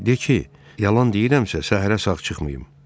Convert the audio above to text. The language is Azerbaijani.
De ki, yalan deyirəmsə, səhərə sağ çıxmayım.